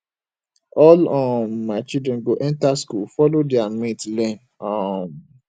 all um my children go enter school follow their mate learn um